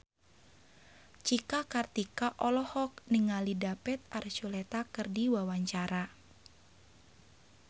Cika Kartika olohok ningali David Archuletta keur diwawancara